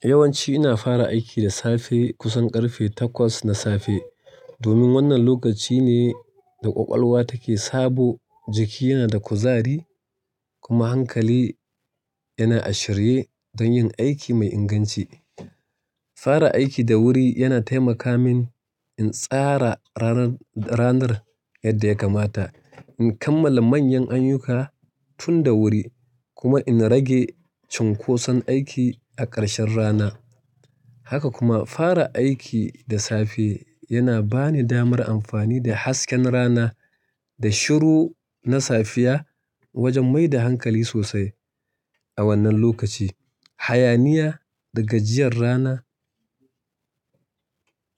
Yawanci ina fara aiki da safe kusan ƙarfe takwas na safe. Domin wannan lokaci ne da ƙwaƙwalwa take sabo, jiki yana da kuzari kuma hankali yana a shirye don yin aiki mai inganci. Fara aiki da wuri yana taimaka min in tsara ranar ranar yadda ya kamata, in kammala manyan ayyukka tun da wuri kuma in rage cunkoson aiki a ƙarshen rana. Haka kuma, fara aiki da safe yana ba ni damar amfani da hasken rana da shiru na safiya wajen mai da hankali sosai. A wannan lokaci, hayaniya da gajiyar rana